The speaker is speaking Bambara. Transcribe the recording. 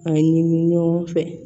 A ɲini ɲɔgɔn fɛ